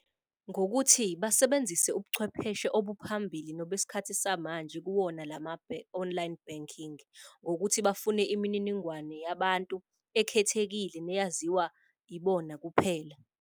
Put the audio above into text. Ngokuthi basebenzise ubuchwepheshe obuphambili nobesikhathi samanje kuwona lama online banking. ngokuthi bafune imininingwane yabantu ekhethekile neyaziwa ibona kuphela.